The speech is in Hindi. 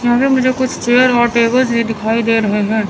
यहां पर मुझे कुछ चेयर और टेबल्स भी दिखाई दे रहे हैं।